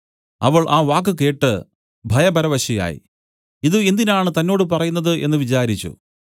അവൾ ആ വാക്ക് കേട്ട് ഭയപരവശയായി ഇതു എന്തിനാണ് തന്നോട് പറയുന്നത് എന്നു വിചാരിച്ചു